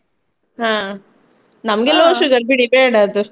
ಹಾ, ನಮ್ಗೆ sugar ಬಿಡಿ ಬೇಡ ಅದು.